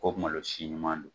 ko malosi ɲuman don.